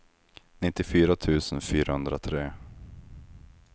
nittiofyra tusen fyrahundratre